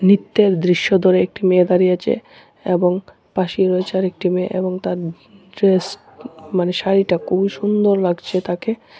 নৃত্যের দৃশ্য ধরে একটি মেয়ে দাঁড়িয়ে আছে এবং পাশেই রয়েছে আরেকটি মেয়ে এবং তার ড্রেস মানে শাড়িটা খুবই সুন্দর লাগছে তাকে।